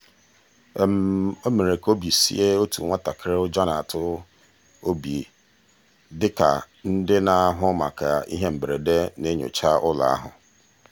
o mere ka obi sie otu nwatakịrị ụjọ na-atụ obi dị ka ndị na-ahụ maka ihe mberede na-enyocha ụlọ ahụ.